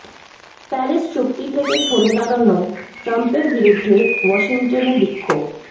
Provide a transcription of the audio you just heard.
Paris চুক্তি থেকে সরে দাঁড়ানোয় ট্রাম্পের বিরুদ্ধে ওয়াশিংটনে বিক্ষোভ